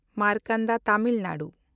Markanda Tamil Nadu